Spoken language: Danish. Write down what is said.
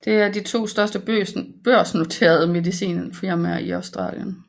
Det er de to største børsnoterede medicinalfirmaer i Australien